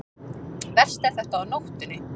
Verst er þetta á nóttunni.